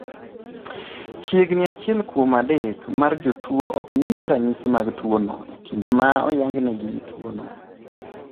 Chiegni achiel kuom adek mar jotuo ok nyis ranyisi mag tuwono e kinde ma oyangnegi tuwono.